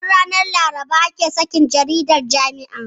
Duk ranar Laraba ake sakin jaridar jami'ar.